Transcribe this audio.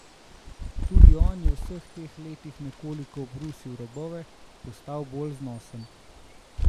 Tudi on je v vseh teh letih nekoliko obrusil robove, postal bolj znosen.